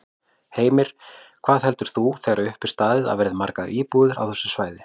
Heimir: Hvað heldur þú þegar upp er staðið að verði margar íbúðir á þessu svæði?